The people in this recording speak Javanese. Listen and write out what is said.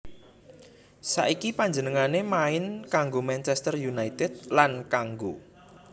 Saiki panjenengané main kanggo Manchester United lan kanggo